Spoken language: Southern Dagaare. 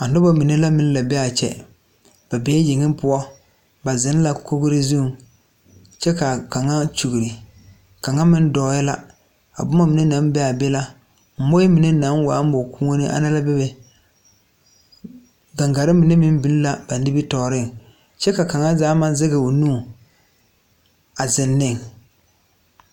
A noba mine la meŋ la bee aa kyɛ be bee yeŋe poɔ ba zeŋ la kogre zuŋ kyɛ kaa kaŋa kyure kaŋa meŋ dɔɔɛɛ la a bomma mine naŋ bee aa be la moɔɛ mine naŋ waa mɔ kuuone ana la bebe gaŋgarre mine meŋ biŋ la ba nimitooreŋ kyɛ ka kaŋa zaa maŋ zeŋ o nu a zeŋ neŋ.